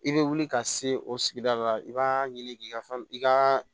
I bɛ wuli ka se o sigida la i b'a ɲini k'i ka fɛn i ka